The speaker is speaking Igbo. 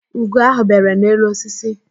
Ugo ahụ bere n'elu osisi